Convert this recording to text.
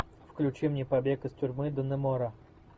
включи мне побег из тюрьмы даннемора